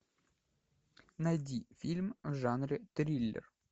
найди фильм в жанре триллер